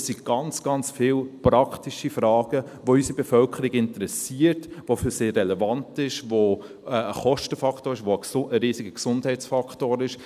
– Es gibt ganz, ganz viele praktische Fragen, die unsere Bevölkerung interessieren, die für sie relevant sind, die ein Kostenfaktor sind, die ein riesiger Gesundheitsfaktor sind.